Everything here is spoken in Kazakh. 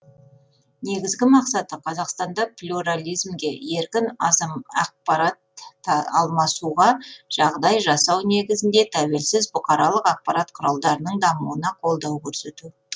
негізгі мақсаты қазақстанда плюрализмге еркін ақпарат тар алмасуға жағдай жасау негізінде тәуелсіз бұқаралық ақпарат құралдарының дамуына қолдау көрсету